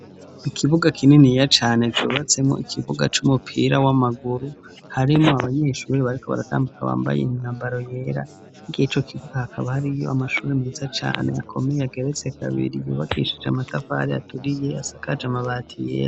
Ikibuga kininiya cane cubatsemo ikibuga c'umupira w'amaguru; harimwo abanyeshuri bariko baratambuka bambaye imyambaro yera. Kw' ico kibuga hakaba hariyo amashuri meza cane akomeye ageretse kabiri, yubakishije amatafari aturiye, asakaje amabati yera.